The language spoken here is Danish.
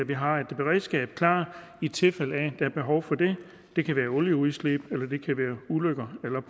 vi har et beredskab klar i tilfælde af at er behov for det det kan være olieudslip eller det kan være ulykker eller